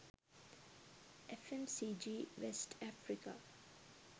fmcg west africa